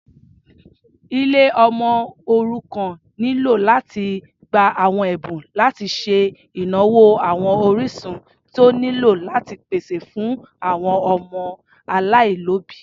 Ilé ọmọ òrukàn nílò láti gbà àwọn Ẹ̀bùn láti ṣe ìnáwó àwọn orísun tí ó nílò láti pèsè fún àwọn ọmọ aláìlóbìí.